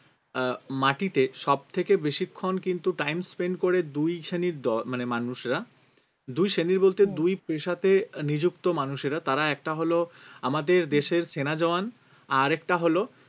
আহ মাটিতে সব থেকে বেশিক্ষণ কিন্তু time spend করে দুই শ্রেণীর দল মানে মানুষরা দুই শ্রেণীর বলতে দুই পেশাতে আহ নিযুক্ত মানুষেরা তারা একটা হল আমাদের দেশের সেনা জাওয়ান আরেকটা হল